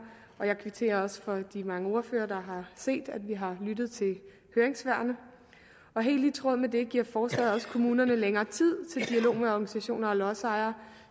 jeg kvitterer også for at mange ordførere har set at vi har lyttet til høringssvarene og helt i tråd med det giver forslaget også kommunerne længere tid til dialog med organisationer og lodsejere